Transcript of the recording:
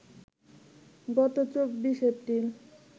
গত ২৪ এপ্রিল